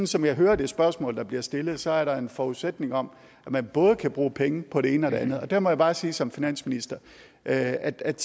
som jeg hører det spørgsmål der bliver stillet så er der en forudsætning om at man både kan bruge penge på det ene og det andet og der må jeg bare sige som finansminister at at